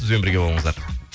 бізбен бірге болыңыздар